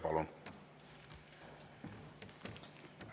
Palun!